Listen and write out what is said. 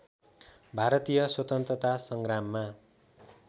भारतीय स्वतन्त्रता सङ्ग्राममा